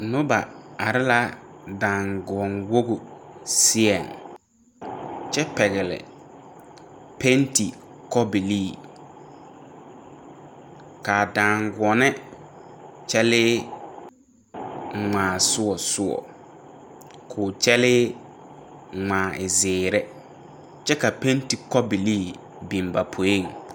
Noba are la daaguone woge seɛŋ kyɛ pɛgle pɛnti kobilii kaa daaguone kyɛlee ngmaa sɔɔ sɔɔ koo kyɛlee ngmaa e zeere kyɛ ka pɛnti kobilii biŋ ba poeŋ.